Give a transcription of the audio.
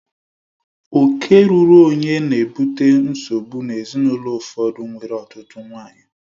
Oke ruuru onye na-ebute nsogbu n'ezinaụlọ ụfọdụ nwere ọtụtụ nwanyị